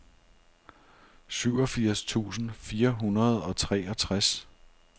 syvogfirs tusind fire hundrede og treogtres